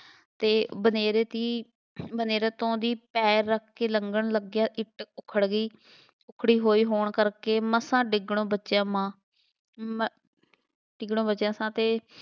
ਅਤੇ ਬਨੇਰੇ ਦੀ ਬਨੇਰੇ ਤੋਂ ਦੀ ਪੈਰ ਰੱਖ ਕੇ ਲੰਘਣ ਲੱਗਿਆ, ਇੱਟ ਉੱਖੜ ਗਈ, ਉੱਖੜੀ ਹੋਣ ਕਰਕੇ ਮਸਾਂ ਡਿੱਗਣੋ ਬਚਿਆ ਮਾਂ, ਮ~ ਡਿੱਗਣੋਂ ਬਚਿਆ ਸਾਂ ਅਤੇ